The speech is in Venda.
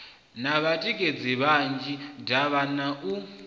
na vhatikedzi vhanzhi davhana u